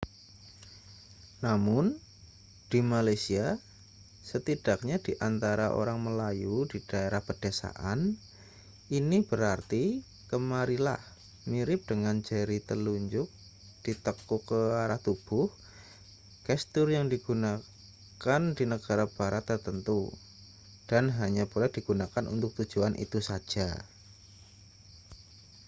namun di malaysia setidaknya di antara orang melayu di daerah pedesaan ini berarti kemarilah mirip dengan jari telunjuk ditekuk ke arah tubuh gestur yang digunakan di negara barat tertentu dan hanya boleh digunakan untuk tujuan itu saja